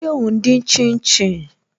Ṣé o n dín shin shin?